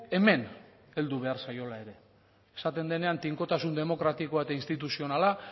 hemen heldu behar zaiola ere esaten denean tinkotasun demokratikoa eta instituzionala